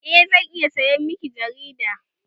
Eh, zan iya sayan miki jigida